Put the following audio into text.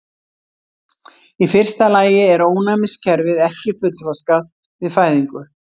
Í fyrsta lagi er ónæmiskerfið ekki fullþroskað við fæðingu.